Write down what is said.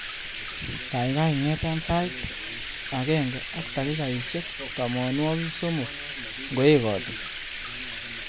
Gaigai ingeta sait agenge ak takikaishek tamanwogik somok ngoekati